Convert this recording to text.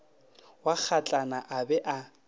wa kgatlana a ba a